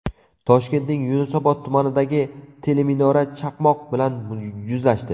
Toshkentning Yunusobod tumanidagi teleminora chaqmoq bilan yuzlashdi.